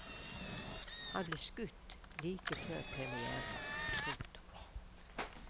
Han ble skutt like før premièren. punktum